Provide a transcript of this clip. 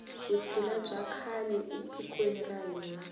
vutshila bya kala e tikweni ra hina